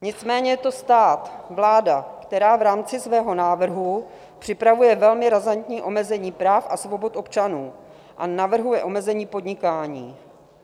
Nicméně je to stát, vláda, která v rámci svého návrhu připravuje velmi razantní omezení práv a svobod občanů a navrhuje omezení podnikání.